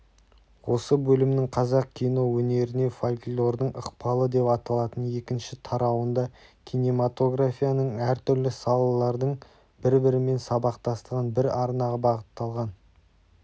осы бөлімнің қазақ кино өнеріне фольклордың ықпалы деп аталатын екінші тарауында кинематографияның әртүрлі салалардың бір-бірімен сабақтастығын бір арнаға бағытталған